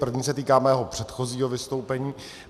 První se týká mého předchozího vystoupení.